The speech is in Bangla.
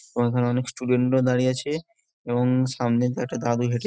ঐখানে অনেক স্টুডেন্ট -রা দাঁড়িয়ে আছে এবং সামনে তো একটা দাদু গেছে।